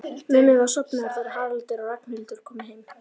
Mummi var sofnaður þegar Haraldur og Ragnhildur komu heim.